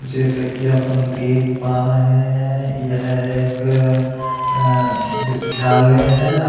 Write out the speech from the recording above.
जैसे की अपन देख पा रहे हैं यह एक अं विद्यालय है।